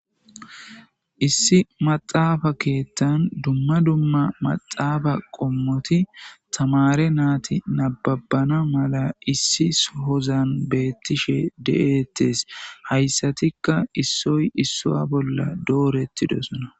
issi maxaafa keettan dumma dumma maxaafa qommoti tamare naati nababana mala issi shozan beettishe de7ettes hayssatikka issoy isso bolla dooretti dosona